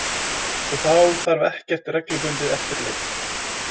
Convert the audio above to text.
Og þá þarf ekkert reglubundið eftirlit.